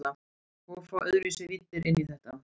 Og fá öðruvísi víddir inn í þetta.